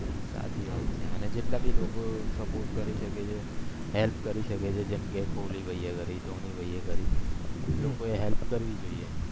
સાચી વાત છે અને જેટલા ભી લોકો support કરી શકે છે help કરી શકે છે જેમ કે કોહલી ભય એ કરી ધોની ભય એ કરી એમ કોઈએ help કરવી જોઈએ